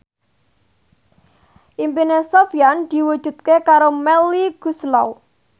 impine Sofyan diwujudke karo Melly Goeslaw